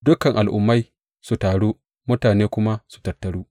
Dukan al’ummai su taru mutane kuma su tattaru.